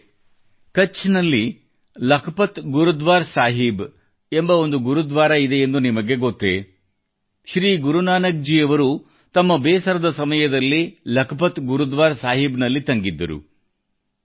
ಸ್ನೇಹಿತರೆ ನಿಮಗೆ ಕಛ್ ನಲ್ಲಿ ಲಖಪತ್ ಗುರುದ್ವಾರ ಸಾಹೀಬ್ ಎಂಬ ಒಂದು ಗುರುದ್ವಾರ ಇದೆಯೆಂದು ನಿಮಗೆ ಗೊತ್ತೆ ಶ್ರೀ ಗುರುನಾನಕ್ ಜಿ ಅವರು ತಮ್ಮ ಬೇಸರದ ಸಮಯದಲ್ಲಿ ಲಖಪತ್ ಗುರುದ್ವಾರ ಸಾಹೀಬ್ ನಲ್ಲಿ ತಂಗಿದ್ದರು